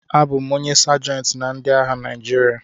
Abụ m onye Sajentị na ndị agha Naịjirịa